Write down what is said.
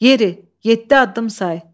Yeri, yeddi addım say.